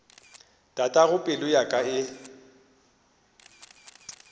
tatago pelo ya ka e